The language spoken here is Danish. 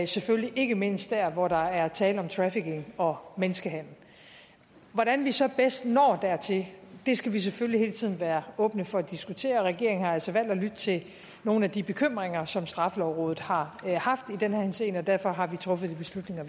selvfølgelig ikke mindst der hvor der er tale om trafficking og menneskehandel hvordan vi så bedst når dertil skal vi selvfølgelig hele tiden være åbne for at diskutere regeringen har altså valgt at lytte til nogle af de bekymringer som straffelovrådet har haft i den henseende og derfor har vi truffet de beslutninger